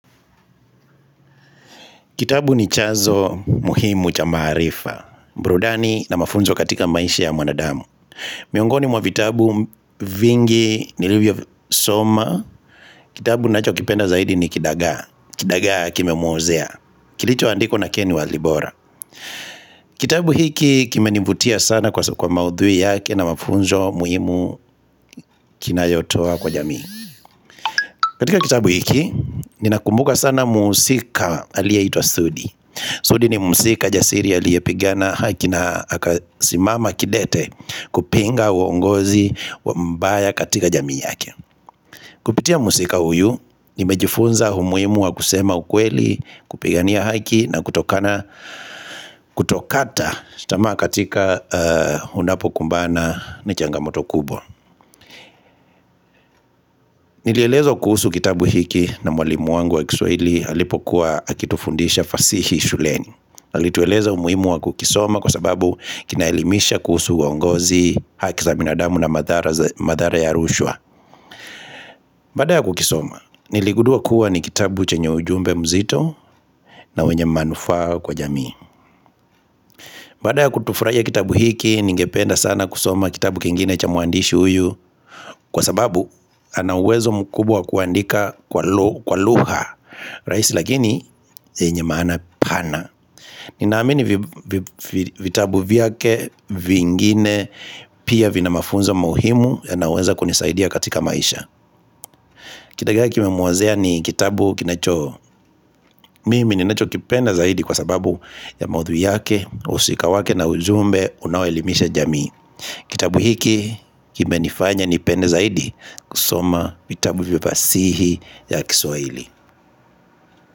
Kitabu ni chazo muhimu cha maarifa mbrudani na mafunzo katika maisha ya mwanadamu miongoni mwa vitabu vingi nilivyo soma Kitabu nacho kipenda zaidi ni Kidagaa Kidagaa kime muozea Kilicho andikwa na ken walibora Kitabu hiki kimenivutia sana kwa maudhui yake na mafunzo muhimu kinayotoa kwa jamii katika kitabu hiki, ninakumbuka sana muhusika aliyeitwa Sudi Sudi ni mhusika jasiri aliyepigana haki na akasimama kidete kupinga uongozi wa mbaya katika jamii yake. Kupitia msika uyu ni mejifunza humuimu wa kusema ukweli kupigania haki na kutokata tamaa katika hunapo kumbana na changamoto kubwa. Nilielezwa kuhusu kitabu hiki na mwalimu wangu wa kiswaili halipokuwa akitufundisha fasihi shuleni. Alitueleza umuhimu wa kukisoma kwa sababu kinaelimisha kuhusu uongozi haki za binadamu na madhara ya rushwa Baada ya kukisoma, niligudua kuwa ni kitabu chenye ujumbe mzito na wenye manufaa kwa jamii Baada ya kutufuraia kitabu hiki, ningependa sana kusoma kitabu kingine cha muandishi uyu Kwa sababu, anauwezo mkubwa wa kuandika kwa lugha raisi lakini, yenye maana pana Ninaamini vitabu vyake vingine pia vina mafunzo muhimu yanaweza kunisaidia katika maisha Kidagaa kimemuozea ni kitabu kinacho Mimi ninacho kipenda zaidi kwa sababu ya maudhui yake wahusika wake na ujumbe unao elimisha jamii Kitabu hiki kimenifanya nipenda zaidi kusoma vitabu vya fasihi ya kiswaili.